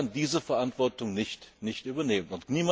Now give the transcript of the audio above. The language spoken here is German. Ich kann diese Verantwortung nicht übernehmen.